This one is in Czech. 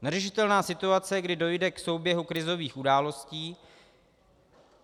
Neřešitelná situace, kdy dojde k souběhu krizových událostí.